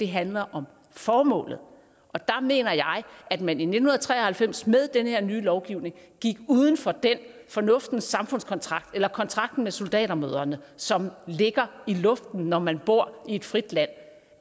handler om formålet og der mener jeg at man i nitten tre og halvfems med den her nye lovgivning gik uden for den fornuftens samfundskontrakt eller kontrakten med soldatermødrene som ligger i luften når man bor i et frit land